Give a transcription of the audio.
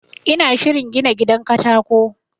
ina shirin gina gidan katako